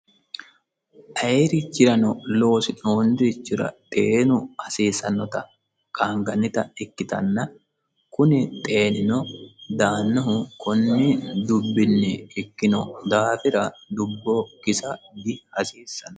Ayee richirano loosi'nooni richira xeenu hasiisannota qaanigannita ikkitanna kuni xeenino daanohu konni dubbini ikkino daafira dubbo kisa dihasiisassanno